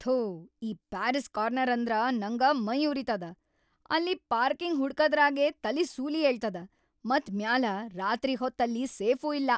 ಥೂ ಈ Parry's Corner ಅಂದ್ರ ನಂಗ ಮೈಯುರಿತದ. ಅಲ್ಲಿ ಪಾರ್ಕಿಂಗ್‌ ಹುಡಕದ್ರಾಗೇ ತಲಿ ಸೂಲಿ ಏಳ್ತದ ಮತ್‌ ಮ್ಯಾಲ ರಾತ್ರಿ ಹೊತ್‌ ಅಲ್ಲಿ ಸೇಫೂ ಇಲ್ಲಾ.